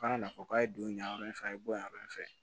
Kana na fɔ k'a ye don yan yɔrɔ in fɛ a ye bonya in fɛ